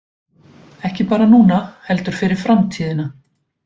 Ekki bara núna heldur fyrir framtíðina